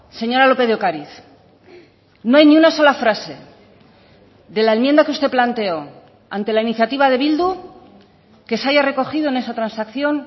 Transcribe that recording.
señora lópez de ocariz no hay ni una sola frase de la enmienda que usted planteó ante la iniciativa de bildu que se haya recogido en esa transacción